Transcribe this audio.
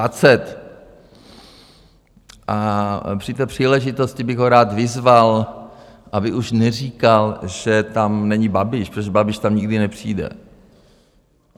A při té příležitosti bych ho rád vyzval, aby už neříkal, že tam není Babiš, protože Babiš tam nikdy nepřijde.